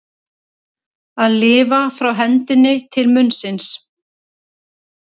Að lifa frá hendinni til munnsins